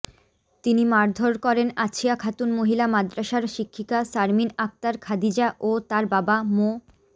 তিনি মারধর করেন আছিয়া খাতুন মহিলা মাদ্রাসার শিক্ষিকা শারমিন আক্তার খাদিজা ও তার বাবা মো